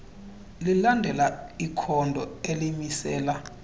lilandela ikhondo elimisela